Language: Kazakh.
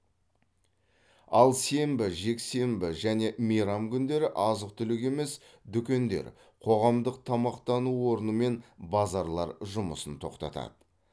ал сенбі жексенді және мейрам күндері азық түлік емес дүкендер қоғамдық тамақтану орны мен базарлар жұмысын тоқтатады